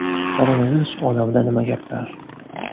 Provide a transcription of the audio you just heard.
Koronavirus olamida nima gaplar?